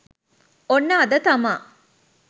ඔන්න අද තමා